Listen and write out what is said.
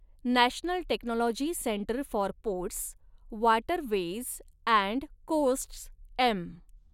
National technology centre for ports, waterways and coasts M.